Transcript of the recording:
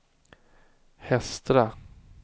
Hestra